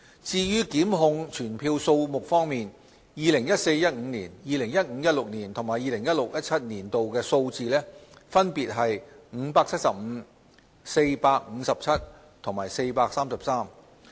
至於檢控傳票數目方面 ，2014-2015 年度、2015-2016 年度及 2016-2017 年度的數字分別為575、457和433。